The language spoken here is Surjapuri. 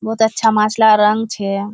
बोहोत अच्छा माछलार रोंग छे।